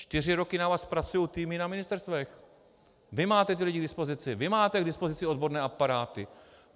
Čtyři roky na vás pracují týmy na ministerstvech, vy máte ty lidi k dispozici, vy máte k dispozici odborné aparáty.